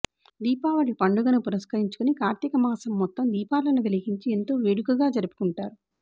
దీపావళి పండుగను పురస్కరించుకుని కార్తీక మాసం మొత్తం దీపాలను వెలిగించి ఎంతో వేడుకగా జరుపుకుంటారు